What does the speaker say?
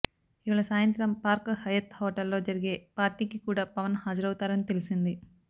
ఇవాళ సాయంత్రం Park Hyatt హోటల్లో జరిగే పార్టీకికూడా పవన్ హాజరవుతారని తెలిసింది